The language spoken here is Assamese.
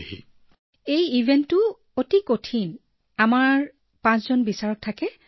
প্ৰিয়ংকাঃ মোৰ দৰে ইভেণ্টত বৰ কঠিন কাৰণ আমাৰ পাঁচজন বিচাৰক থিয় হৈ থাকে